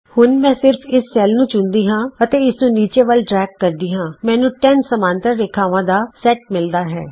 ਹੁਣ ਮੈਂ ਸਿਰਫ ਇਸ ਸੈਲ ਨੂੰ ਚੁਣਦੀ ਹਾਂ ਅਤੇ ਇਸਨੂੰ ਨੀਚੇ ਵਲ ਡਰੇਗ ਕਰਦੀ ਹਾਂ ਮੈਨੂੰ 10 ਸਮਾਂਤਰ ਰੇਖਾਵਾਂ ਦਾ ਸੇਟ ਮਿਲਦਾ ਹੈ